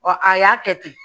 a y'a kɛ ten